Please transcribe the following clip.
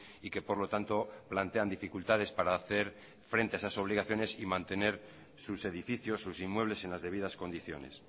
y que por lo tanto plantean dificultades para hacer frente a esas obligaciones y mantener sus edificios sus inmuebles en las debidas condiciones